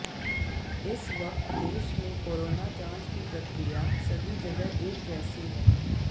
इस वक्त देश में कोरोना जांच की प्रक्रिया सभी जगह एक जैसी है